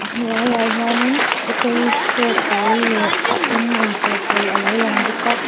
hnuai a hian in autorikshaw pawl leh a eng in chawh pawl a lo lang bawk a--